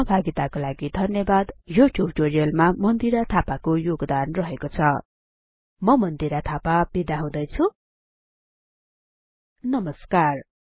सहभागिताको लागि धन्यवाद यो ट्युटोरियलमा मन्दिरा थापाको योगदान रहेको छ म मन्दिरा थापा बिदा हुदैछु नमस्कार